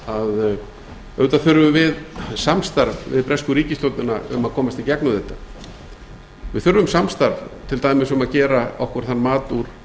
að auðvitað þurfum við samstarf við bresku ríkisstjórnina um að komast í gegnum þetta við þurfum samstarf til dæmis um að gera okkur þann mat úr